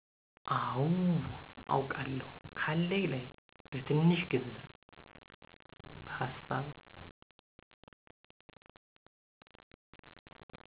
አው አውቃለው ካለኝ ላይ በትንሺ ግንዘብ በሀሳብ።